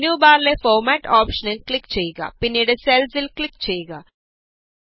ഇനി മെനു ബാറിലെ ഫോര്മാറ്റ് ഓപ്ഷനില് ക്ലിക് ചെയ്യുക പിന്നീട് സെല്സ് ല് ക്ലിക് ചെയ്യുക